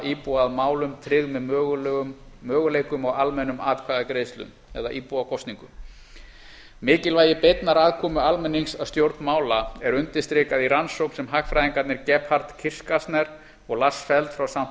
íbúa að málum tryggð með möguleikum á almennum atkvæðagreiðslum eða íbúakosning mikilvægi beinnar aðkomu almennings að stjórn mála er undirstrikað í rannsókn sem hagfræðingarnir gebhard kirchgässner og lars feld frá